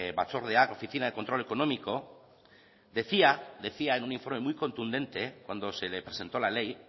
batzordeak oficina de control económico decía decía en un informe muy contundente cuando se le presentó la ley